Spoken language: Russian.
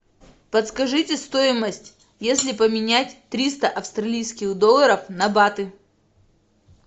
подскажите стоимость если поменять триста австралийских долларов на баты